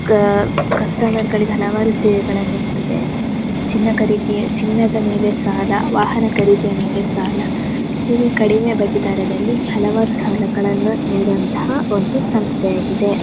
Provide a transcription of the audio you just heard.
ಕ ಕಸ್ಟಮರ್ ಗಳಿಗೆ ಹಲವಾರು ಸೇವೆಗಳನ್ನು ನೀಡುತ್ತದ್ದೆ ಚಿನ್ನ ಖರೀದಿ ಚಿನ್ನದ ಮೇಲೆ ಸಾಲ ವಾಹನ ಖರೀದಿಯ ಮೇಲೆ ಸಾಲ ಇದು ಕಡಿಮೆ ಬಡ್ಡಿ ದರದಲ್ಲಿ ಹಲವಾರು ಸಾಲಗಳನ್ನ ನಿಡುವಂತಹ ಒಂದು ಸಂಸ್ಥೆಯಾಗಿದೆ.